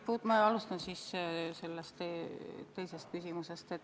Ma alustan teisest küsimusest.